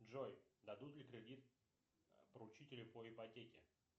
джой дадут ли кредит поручителю по ипотеке